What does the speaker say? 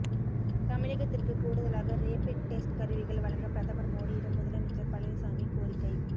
தமிழகத்திற்கு கூடுதலாக rapid test கருவிகள் வழங்க பிரதமர் மோடியிடம் முதலமைச்சர் பழனிசாமி கோரிக்கை